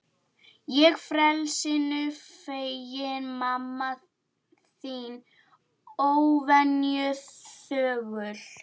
Ég frelsinu feginn, mamma þín óvenju þögul.